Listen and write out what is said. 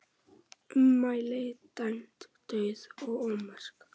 Ummæli dæmd dauð og ómerk